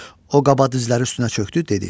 O qaba dizləri üstünə çökdü, dedi.